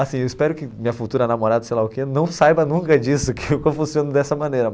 Assim, eu espero que minha futura namorada, sei lá o quê, não saiba nunca disso, que eu funciono dessa maneira.